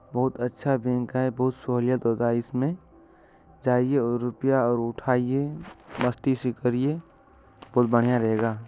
बहुत अच्छा बैंक है बहुत सोहोलियत होता है इसमें जइये और रूपया और उठाइये मस्ती से करिये बहोत बढ़िया रहेगा।